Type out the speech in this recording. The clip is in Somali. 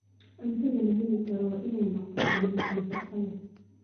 Cuntada la heli karo waa inay noqotaa mid nafaqo leh.